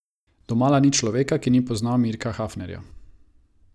Domala ni človeka, ki ni poznal Mirka Hafnerja.